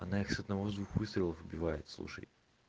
она их с одного двух выстрелов убивает слушай